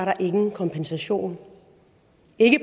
nogen kompensation